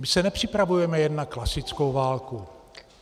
My se nepřipravujeme jen na klasickou válku.